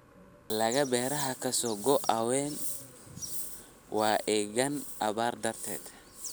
Dalagga beeraha ka soo go�a waa engegaan abaar darteed.